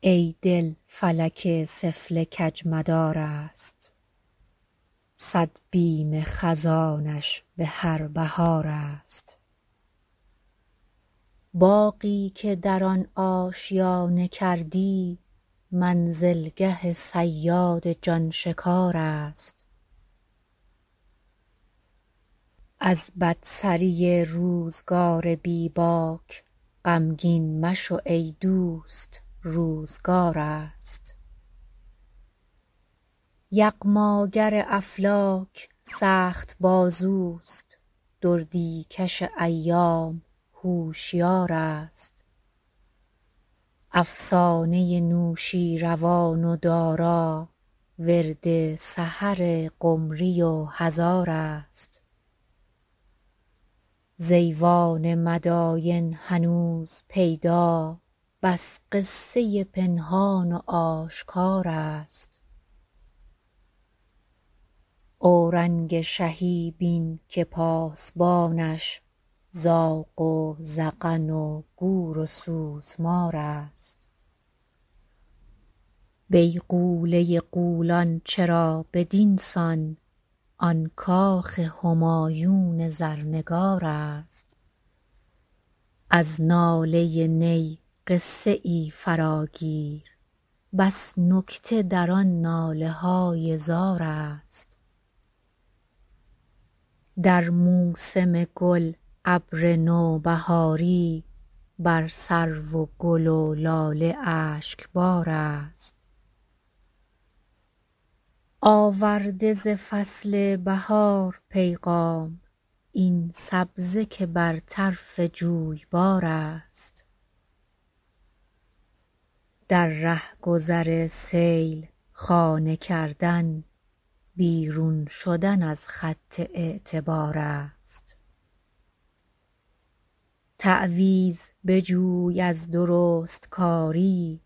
ای دل فلک سفله کجمدار است صد بیم خزانش بهر بهار است باغی که در آن آشیانه کردی منزلگه صیاد جانشکار است از بدسری روزگار بی باک غمگین مشو ایدوست روزگار است یغماگر افلاک سخت بازوست دردی کش ایام هوشیار است افسانه نوشیروان و دارا ورد سحر قمری و هزار است ز ایوان مداین هنوز پیدا بس قصه پنهان و آشکار است اورنگ شهی بین که پاسبانش زاغ و زغن و گور و سوسمار است بیغوله غولان چرا بدینسان آن کاخ همایون زرنگار است از ناله نی قصه ای فراگیر بس نکته در آن ناله های زار است در موسم گل ابر نوبهاری بر سرو و گل و لاله اشکبار است آورده ز فصل بهار پیغام این سبزه که بر طرف جویبار است در رهگذر سیل خانه کردن بیرون شدن از خط اعتبار است تعویذ بجوی از درستکاری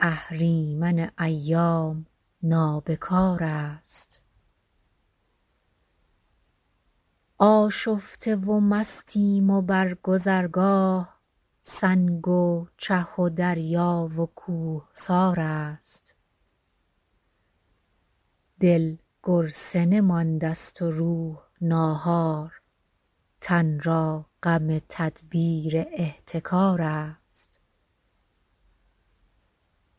اهریمن ایام نابکار است آشفته و مستیم و بر گذرگاه سنگ و چه و دریا و کوهسار است دل گرسنه ماندست و روح ناهار تن را غم تدبیر احتکار است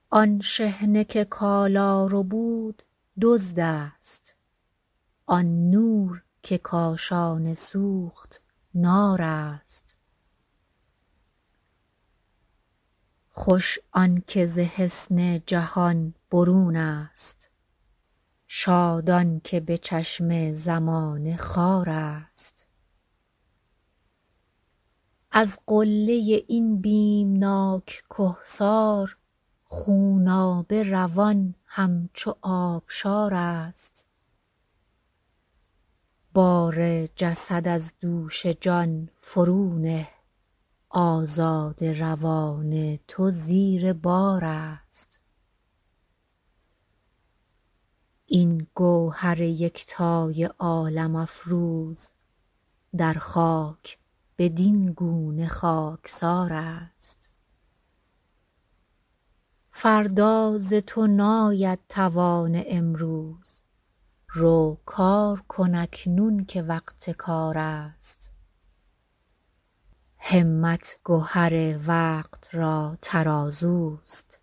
آن شحنه که کالا ربود دزد است آن نور که کاشانه سوخت نار است خوش آنکه ز حصن جهان برونست شاد آنکه بچشم زمانه خوار است از قله این بیمناک کهسار خونابه روان همچو آبشار است بار جسد از دوش جان فرو نه آزاده روان تو زیر بار است این گوهر یکتای عالم افروز در خاک بدینگونه خاکسار است فردا ز تو ناید توان امروز رو کار کن اکنون که وقت کار است همت گهر وقت را ترازوست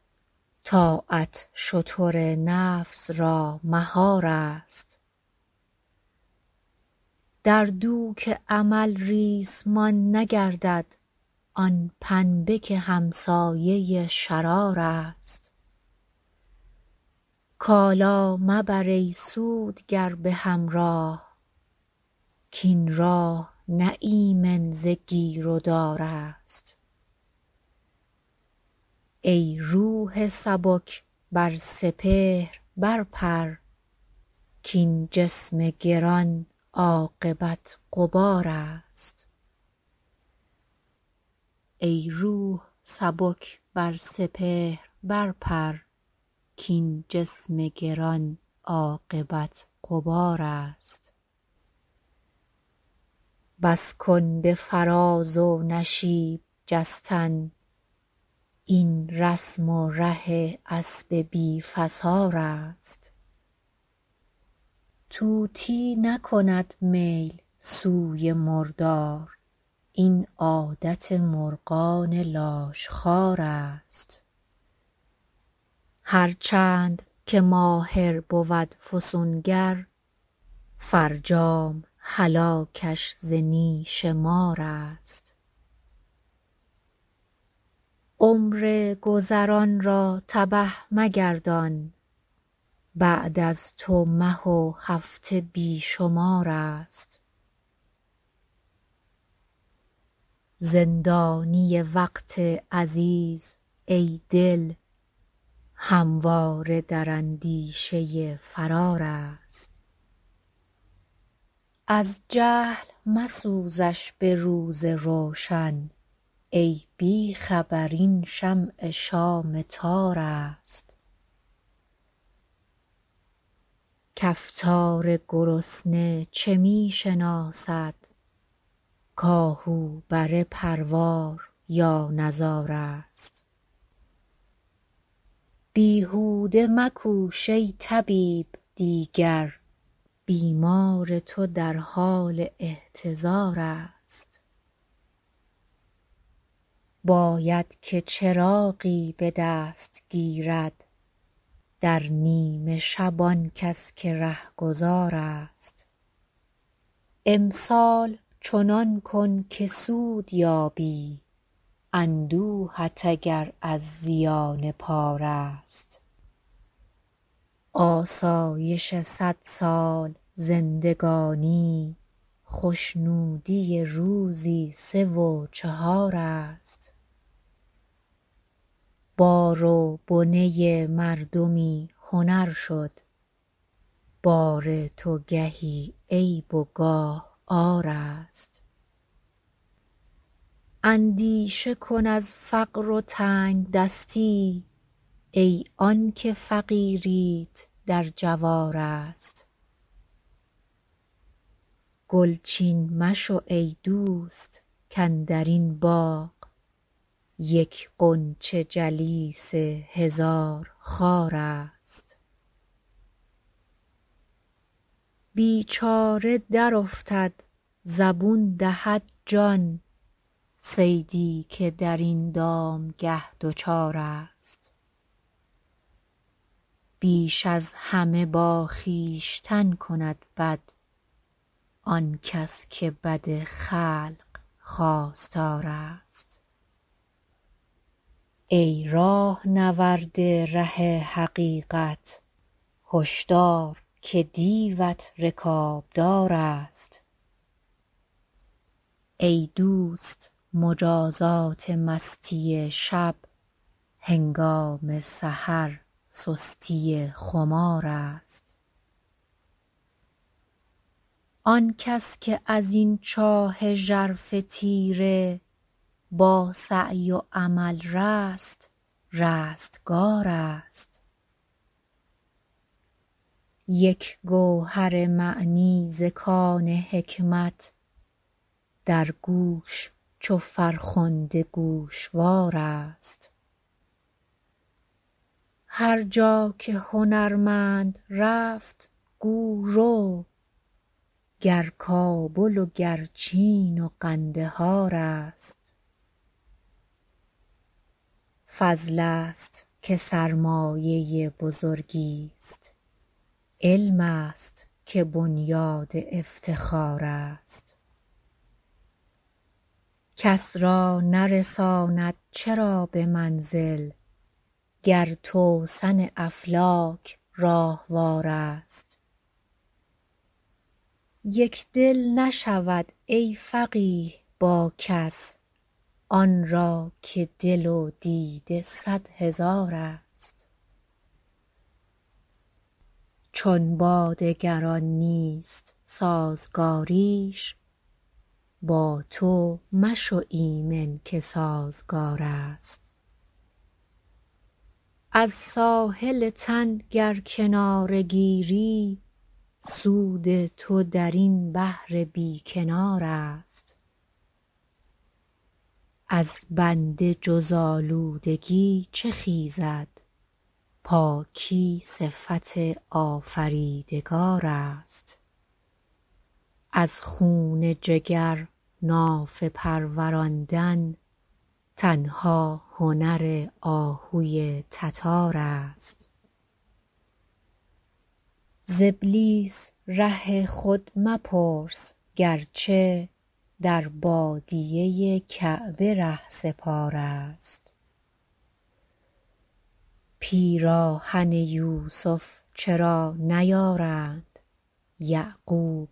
طاعت شتر نفس را مهار است در دوک امل ریسمان نگردد آن پنبه که همسایه شرار است کالا مبر ای سودگر بهمراه کاین راه نه ایمن ز گیر و دار است ای روح سبک بر سپهر برپر کاین جسم گران عاقبت غبار است بس کن به فراز و نشیب جستن این رسم و ره اسب بی فسار است طوطی نکند میل سوی مردار این عادت مرغان لاشخوار است هرچند که ماهر بود فسونگر فرجام هلاکش ز نیش مار است عمر گذران را تبه مگردان بعد از تو مه و هفته بیشمار است زندانی وقت عزیز ای دل همواره در اندیشه فرار است از جهل مسوزش بروز روشن ای بیخبر این شمع شام تار است کفتار گرسنه چه میشناسد ک آهو بره پروار یا نزار است بیهوده مکوش ای طبیب دیگر بیمار تو در حال احتضار است باید که چراغی بدست گیرد در نیمه شب آنکس که رهگذار است امسال چنان کن که سود یابی اندوهت اگر از زیان پار است آسایش صد سال زندگانی خوشنودی روزی سه و چهار است بار و بنه مردمی هنر شد بار تو گهی عیب و گاه عار است اندیشه کن از فقر و تنگدستی ای آنکه فقیریت در جوار است گلچین مشو ایدوست کاندرین باغ یک غنچه جلیس هزار خار است بیچاره در افتد زبون دهد جان صیدی که در این دامگه دچار است بیش از همه با خویشتن کند بد آنکس که بدخلق خواستار است ای راهنورد ره حقیقت هشدار که دیوت رکابدار است ای دوست مجازات مستی شب هنگام سحر سستی خمار است آنکس که از این چاه ژرف تیره با سعی و عمل رست رستگار است یک گوهر معنی ز کان حکمت در گوش چو فرخنده گوشوار است هرجا که هنرمند رفت گو رو گر کابل و گر چین و قندهار است فضل است که سرمایه بزرگی است علم است که بنیاد افتخار است کس را نرساند چرا بمنزل گر توسن افلاک راهوار است یکدل نشود ای فقیه با کس آنرا که دل و دیده صد هزار است چون با دگران نیست سازگاریش با تو مشو ایمن که سازگار است از ساحل تن گر کناره گیری سود تو درین بحر بی کنار است از بنده جز آلودگی چه خیزد پاکی صفت آفریدگار است از خون جگر نافه پروراندن تنها هنر آهوی تتار است ز ابلیس ره خود مپرس گرچه در بادیه کعبه رهسپار است پیراهن یوسف چرا نیارند یعقوب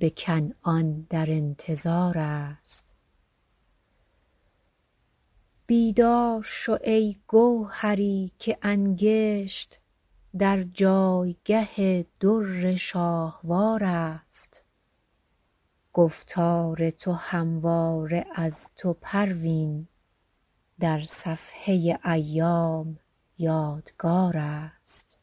بکنعان در انتظار است بیدار شو ای گوهری که انکشت در جایگاه در شاهوار است گفتار تو همواره از تو پروین در صفحه ایام یادگار است